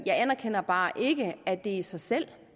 jeg anerkender bare ikke at det i sig selv